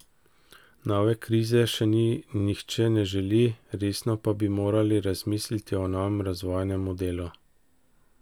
Nove krize si nihče ne želi, resno pa bi morali razmisliti o novem razvojnem modelu.